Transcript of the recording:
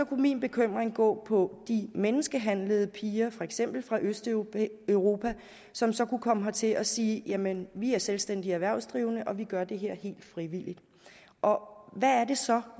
kunne min bekymring gå på de menneskehandlede piger for eksempel fra østeuropa som så kunne komme hertil og sige jamen vi er selvstændige erhvervsdrivende og vi gør det her helt frivilligt og og hvad er det så